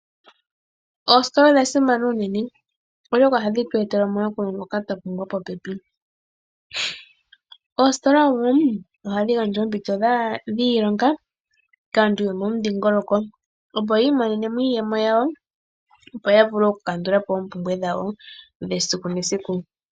Oositola odha simana unene oshoka ngoka twapumbwa popepi. Oositola ohadhi gandja oompito dhiilonga kaantu yo momudhingoloko opo yi imonenemo iiyemo yawo opo yavule oku kandulapo oompumbwe dhawo esiku nesiku.